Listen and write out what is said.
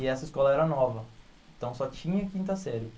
E essa escola era nova, então só tinha a quinta série.